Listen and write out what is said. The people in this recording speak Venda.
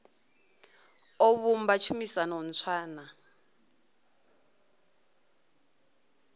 o vhumba tshumisano ntswa na